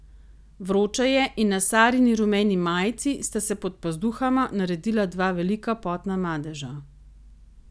Vroče je in na Sarini rumeni majici sta se pod pazduhama naredila dva velika potna madeža.